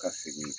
Ka segin